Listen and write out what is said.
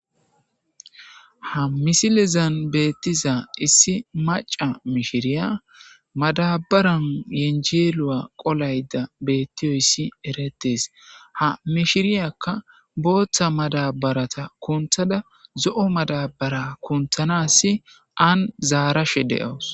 ha misilezan beettiza issi maca mishiriya madabaran yenjeelu7a qolayda bettiyoyssi erettees ha mishiriyakka booththa madabarata kunthada zo7o madabara kunthanasi an zaarashe de7awus